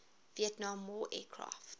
vietnam war aircraft